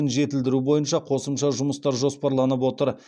жетілдіру бойынша қосымша жұмыстар жоспарланып отыр